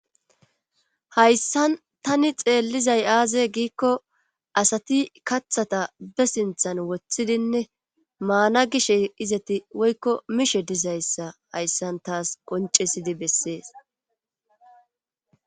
hayssan tani xeellizay aaze giikko asati kathata be sinthan woththidinne maana gishe izati woykko mishe dizayssa hayssan taas qoncesidi bessees